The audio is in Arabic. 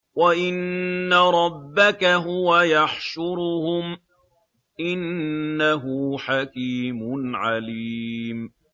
وَإِنَّ رَبَّكَ هُوَ يَحْشُرُهُمْ ۚ إِنَّهُ حَكِيمٌ عَلِيمٌ